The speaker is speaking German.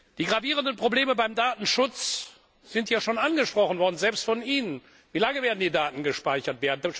Die gravierenden Probleme beim Datenschutz sind ja schon angesprochen worden, selbst von Ihnen Wie lange werden die Daten gespeichert?